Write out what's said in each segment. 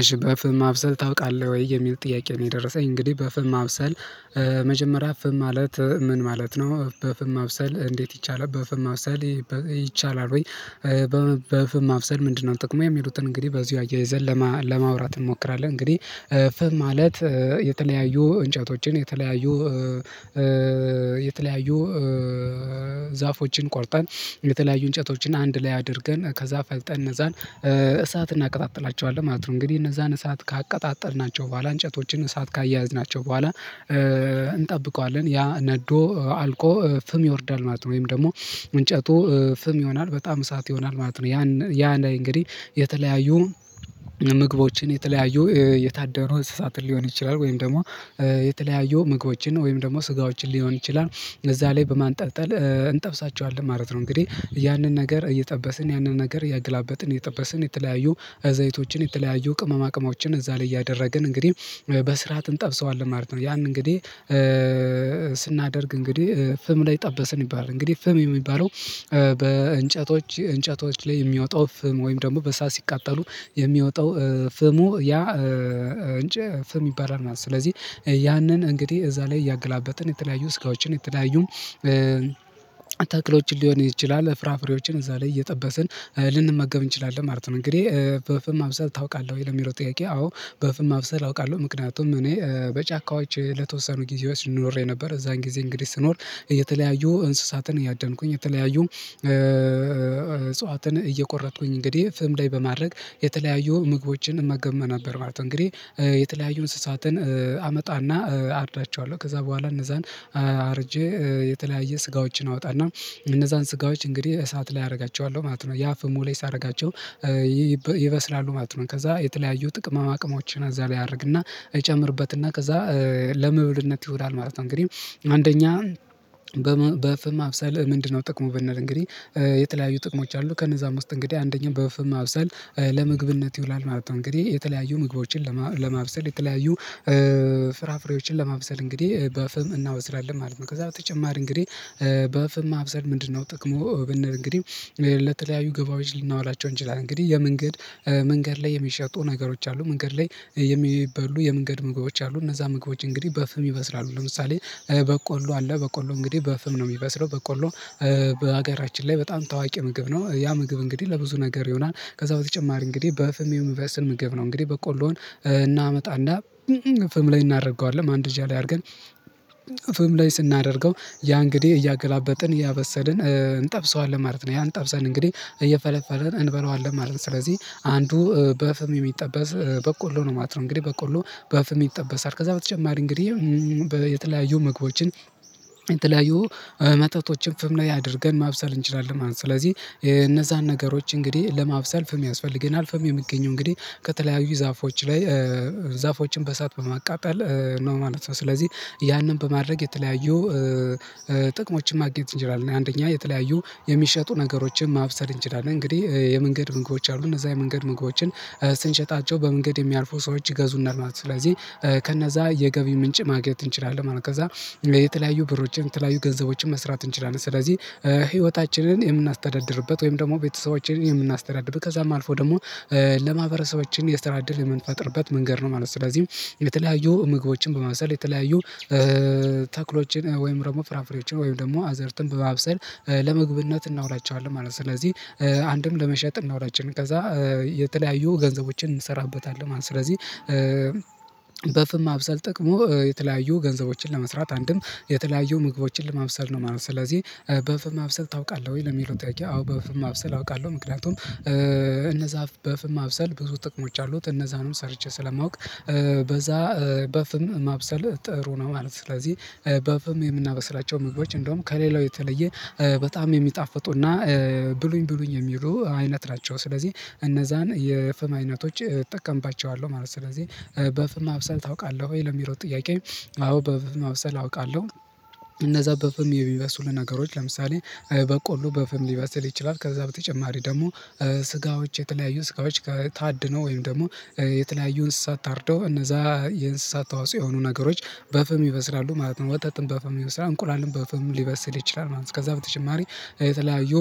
እሺ በፍም ማብሰል ታውቃለህ ወይ? የሚል ጥያቄ ነው የደረሰኝ እንግዲህ በፍም ማብሰል መጀመሪያ ፍም ማለት ምን ማለት ነው፣ በፍም ማብሰል እንዴት ይቻላል፣ በፍም ማብሰል ይቻላል ወይ፣ በፍም ማብሰል ምንድነው ጥቅሙ የሚሉትን እንግዲህ በዚሁ አያይዘን ለማውራት እንሞክራለን። እንግዲህ ፍብ ማለት የተለያዩ እንጨቶችን የተለያዩ የተለያዩ ዛፎችን ቆርጠን የተለያዩ እንጨቶችን አንድ ላይ አድርገን ከዛ ፈልጠን እነዛን እሳት እናቀጣጥላቸዋለን ማለት ነው። እንግዲህ እነዛን እሳት ካቀጣጠልናቸው በኋላ እንጨቶችን እሳት ካያያዝናቸው በኋላ እንጠብቀዋለን ያ ነዶ አልቆ ፍም ይወርዳል ማለት ነው፣ ወይም ደግሞ ምንጨቱ ፍም ይሆናል በጣም እሳት ይሆናል ማለት ነው፣ ያ ያ እንግዲህ የተለያዩ ምግቦችን የተለያዩ የታደኑ እንስሳትን ሊሆን ይችላል ወይም ደግሞ የተለያዩ ምግቦችን ወይም ደግሞ ስጋዎችን ሊሆን ይችላል እዛ ላይ በማንጠብጠል እንጠብሳቸዋለን ማለት ነው። እንግዲህ ያንን ነገር እየጠበስን ያንን ነገር እያገላበጥን፣ እየጠበስን የተለያዩ ዘይቶችን፣ የተለያዩ ቅመም አቅሞችን እዛ ላይ እያደረግን እንግዲህ በስርዓት እንጠብሰዋለን ማለት ነው ያን እንግዲህ ስናደርግ እንግዲህ ፍም ላይ ጠበስን ይባላል። እንግዲህ ፍም የሚባለው በእንጨቶች እንጨቶች ላይ የሚያወጣው ፍም ወይም ደግሞ በእሳት ሲቃጠሉ የሚወጣው ፍሙ ያ እንጨ ፍም ይባላል ማለት ነው ስለዚህ ያንን እንግዲህ እዛ ላይ እያገላበጥን የተለያዩ ስጋዎችን የተለያዩ ተክሎችን ሊሆን ይችላል፣ ፍራፍሬዎችን እዛ ላይ እየጠበስን ልንመገብ እንችላለን ማለት ነው። እንግዲህ በፍም ማብሰል ታውቃለህ ወይ ለሚለው ጥያቄ አዎ በፍም ማብሰል አውቃለሁ ምክንያቱም እኔ በጫካዎች ለተወሰኑ ጊዜ ኖሬ ነበር እዛን ጊዜ እንግዲህ ስኖር እየተለያዩ እንስሳትን እያደንኩኝ፣ የተለያዩ እጽዋትን እየቆረጥኩኝ እንግዲህ ፍም ላይ በማድረግ የተለያዩ ምግቦችን እመገብ ነበር ማለት ነው። እንግዲህ የተለያዩ እንስሳትን አመጣና አርዳቸዋለሁ ከዛ በኋላ እነዛን አርጄ የተለያየ ስጋዎችን አወጣና እነዛን ስጋዎች እንግዲህ እሳት ላይ አደርጋቸዋለሁ ማለት ነው ያ ፍሙ ላይ ሳደርጋቸው ይበስላሉ ማለት ነው ከዛ የተለያዩ ጥቅመማ ቅመሞችን እዛ ላይ አደርግና እጨምርበትና ከዛ ለመብልነት ይውላል ማለት ነው። እንግዲህ አንደኛ በፍም ማብሰል ምንድነው ጥቅሙ ብንል እንግዲህ የተለያዩ ጥቅሞች አሉት ከነዛም ዉስጥ እንግዲህ አንደኛው በፍም ማብሰል ለምግብነት ይውላል ማለት ነው። እንግዲህ የተለያዩ ምግቦችን ለማብሰል የተለያዩ ፍራፍሬዎችን ለማብሰል እንግዲህ በፍም እናበስላለን ማለት ነው። ከዛ በተጨማሪ እንግዲህ በፍም ማብሰል ምንድነው ጥቅሙ ብንል እንግዲህ ለተለያዩ ገቢዎች ልናዋላቸው እንችላለን። እንግዲህ የመንገድ መንገድ ላይ የሚሸጡ ነገሮች አሉ መንገድ ላይ የሚበሉ የመንገድ ምግቦች አሉ እነዛ ምግቦች እንግዲህ በፍም ይበስራሉ ለምሳሌ በቆሎ አለ በቆሎ እንግዲህ በፍም ነው የሚበስለው። በቆሎ በሀገራችን ላይ በጣም ታዋቂ ምግብ ነው ያ ምግብ እንግዲህ ለብዙ ነገር ይሆናል ከዛ በተጨማሪ እንግዲህ በፍም የሚበስል ምግብ ነው እንግዲህ በቆሎዉን እናመጣና ፍም ላይ እናደርገዋለን፣ ማንደጃ ላይ አድርገን ፍም ላይ ስናደርገው ያ እንግዲህ እያገላበጥን እያበሰልን እንጠብሰዋለን ማለት ነው፣ ያ ጠብሰን እንግዲህ እየፈለፈልን እንበለዋለን ማለት ነው ስለዚህ አንዱ በፍም የሚጠበስ በቆሎ ነው ማለት ነው እንግዲህ በቆሎ በፍም ይጠበሳል ከዛ በተጨማሪ እንግዲህ በ የተለያዩ ምግቦችን የተለያዩ መጠጦችን ፍም ላይ አድርገን ማብሰል እንችላለን ማለት ነው ስለዚህ እነዛን ነገሮች እንግዲህ ለማብሰል ፍም ያስፈልገናል። ፍም የሚገኘው እንግዲህ ከተለያዩ ዛፎች ላይ ዛፎችን በእሰት በማቃጠል ነው ማለት ነው ስለዚህ ያንን በማድረግ የተለያዩ ጥቅሞችን ማግኘት እንችላልን፤ አንደኛ የተለያዩ የሚሸጡ ነገሮችን ማብሰል እንችላለን እንግዲህ የመንገድ ምግቦች አሉ እነዛ የመንገድ ምግቦችን ስንሸጣቸው በመንገድ የሚያርፉ ሰዎች ይገዙናል ማለት ነው ስለዚህ ከነዛ የገቢ ምንጭ ማግኘት እንችላለን ማለት ነው፣ ከዛ የተለያዩ ብሮችን፣ የተለያዩ ገንዘቦችን መስራት እንችላለን ስለዚህ ህይወታችንን የምናስተዳድርበት ወይም ደግሞ ቤተሰቦችን የምናስተዳድርበት ከዛም አልፎ ደግሞ ለማህበረሰቦችም የስራ እድል የምንፈጥርበት መንገድ ነው ማለት ነው፣ ስለዚህ የተለያዩ ምግቦችን በማብሰል፣ የተለያዩ ተክሎችን ወይም ደግሞ ፍራፍሬዎችን ወይም ደግሞ አዝርትን በማብሰል ለመግብነት እናውላቸዋለን ማለት ነው፣ ስለዚህ አንድም ለመሸጥ እናዉላቸዋለን፣ ከዛ የተለያዩ ገንዘቦችን እንሰራበታለን ማለት ነው። ስለዚህ በፍም ማብሰል ጥቅሙ የተለያዩ ገንዘቦችን ለመስራት፣ አንድም የተለያዩ ምግቦችን ለማብሰል ነው ማለት ነው ስለዚህ በፍም ማብሰል ታውቃለህ ወይ ለሚለው ጥያቄ አዎ በፍማ ማብሰል አውቃለሁ ምክንያቱም እነዛ በፍም ማብሰል ብዙ ጥቅሞች አሉት እነዛንም ሰርቼ ስለማውቅ በዛ በፍም ማብሰል ጥሩ ነው ማለት ነው ስለዚህ በፍም የምናበስላቸው ምግቦች እንደውም ከሌላው የተለየ በጣም የሚጣፍጡና ብሉኝ ብሉኝ የሚሉ አይነት ናቸው ስለዚህ እነዛን የፍም አይነቶች እጠቀምባቸዋለሁ ማለት ነው። ስለዚህ በፍም ማብሰል ታውቃለህ ወይ ለሚለው ጥያቄ አዎ በፍም ማብሰል አውቃለሁ። እነዛ በፍም የሚበስሉ ነገሮች ለምሳሌ በቆሎ በፍም ሊበስል ይችላል ከዛ በተጨማሪ ደግሞ ስጋዎች የተለያዩ ስጋዎች ታድነው ወይም ደግሞ የተለያዩ እንስሳ ታርደው እነዛ የእንስሳ ተዋጽኦ የሆኑ ነገሮች በፍም ይበስራሉ ማለት ነው ወተትም በፍም ይበስላል፣ እንቁላልም በፍም ሊበስል ይችላል ማለት ነው፣ ከዛ በተጨማሪ የተለያዩ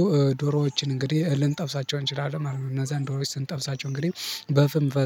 ዶሮዎችን እንግዲህ ልንጠብሳቸው እንችላለን ማለት ነው። እነዛን ዶሮች ስንጠብሳቸው እንግዲህ በፍም በ